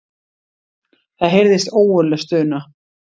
Það heyrðist ógurleg stuna.